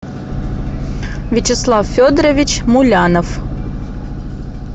вячеслав федорович мулянов